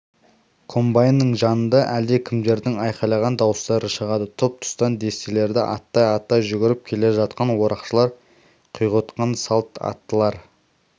комбайнның жанында әлдекімдердің айқайлаған дауыстары шығады тұс-тұстан дестелерді аттай-аттай жүгіріп келе жатқан орақшылар құйғытқан салт аттылар